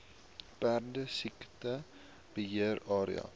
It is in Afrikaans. perdesiekte beheer area